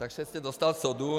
Takže jste dostal sodu.